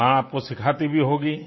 तो माँ आपको सिखाती भी होगी